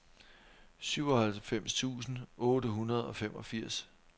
syvoghalvfems tusind otte hundrede og femogfirs